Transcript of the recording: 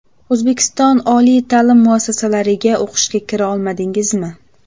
O‘zbekiston oliy ta’lim muassasalariga o‘qishga kira olmadingizmi?